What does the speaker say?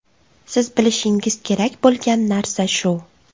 Siz bilishingiz kerak bo‘lgan narsa shu.